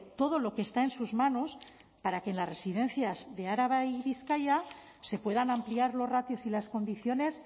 todo lo que está en sus manos para que en las residencias de araba y bizkaia se puedan ampliar los ratios y las condiciones